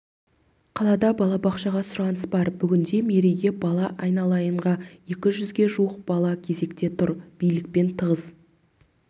қалада балабақшаға сұраныс бар бүгінде мерейге бала айналайынға екі жүзге жуық бала кезекте тұр билікпен тығыз